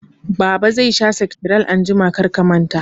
Baba zai sha sektiral anjima, kar ka manta